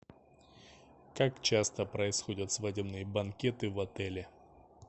как часто происходят свадебные банкеты в отеле